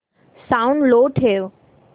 sound लो ठेव